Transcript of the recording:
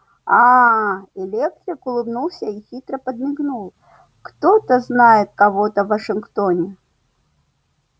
аа электрик улыбнулся и хитро подмигнул кто-то знает кого-то в вашингтоне